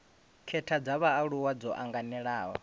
khetha dza vhaaluwa dzo anganelaho